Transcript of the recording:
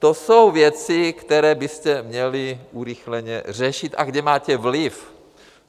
To jsou věci, které byste měli urychleně řešit a kde máte vliv.